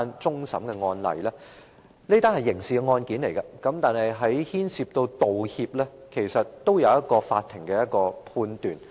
這是一宗刑事案件，當中牽涉到道歉，法庭其實也有一個判斷。